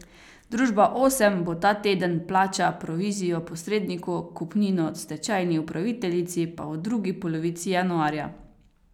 Viola.